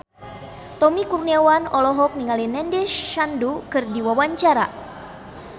Tommy Kurniawan olohok ningali Nandish Sandhu keur diwawancara